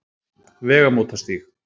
Vegamótastíg